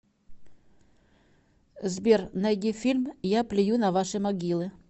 сбер найди фильм я плюю на ваши могилы